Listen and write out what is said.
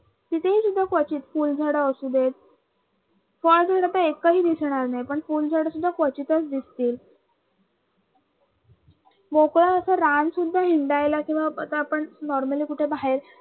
तिथ झाडं असू दे फळ झाडं तर एकही दिसणार नाहीत पण फुल झाडं सुद्धा क्वचितच दिसतील. जर का आपण normally कुठ बाहेर